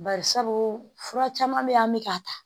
Barisabu fura caman bɛ ye an bɛ ka ta.